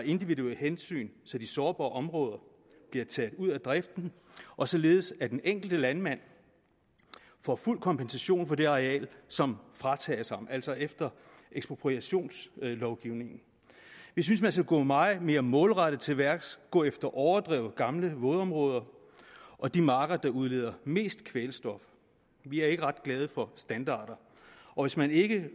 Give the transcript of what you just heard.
individuelle hensyn så de sårbare områder bliver taget ud af driften og således at den enkelte landmand får fuld kompensation for det areal som fratages ham altså efter ekspropriationslovgivningen vi synes man skal gå meget mere målrettet til værks gå efter overdrev gamle vådområder og de marker der udleder mest kvælstof vi er ikke ret glade for standarder og hvis man ikke